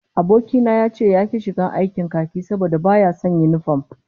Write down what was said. Aboki na ya ce yaki shiga aikin khaki saboda baya son sa yinifom